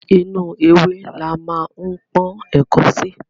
Inú ewé la ma ń pọ́n ẹ̀ko sí.